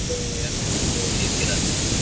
ಮತ್ತೇ ಇದು ನಿಲ್ತಿರಾ ಅಲ್ಲೇ?